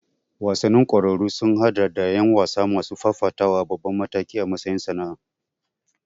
Wasannin ƙwararru sun haɗa da ƴan wasa masu fafatawa a babban mataki a matsayin sana'a.